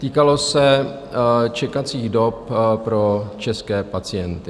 Týkala se čekací dob pro české pacienty.